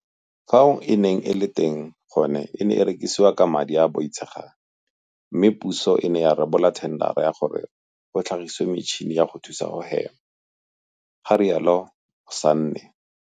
Fao e neng e le teng gone e ne e rekisiwa ka madi a a boitshegang mme puso e ne ya rebola thendara ya gore go tlhagisiwe metšhini ya go thusa go hema, ga rialo Sanne.